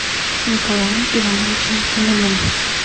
николаем ивановичем фоминым